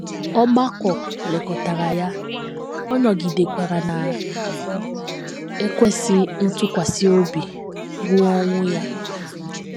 Ọgbakọ lekọtara ya, ọ nọgidekwara na - ekwesị ntụkwasị obi ruo ọnwụ ya.